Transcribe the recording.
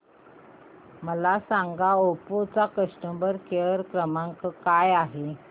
मला सांगा ओप्पो चा कस्टमर केअर क्रमांक काय आहे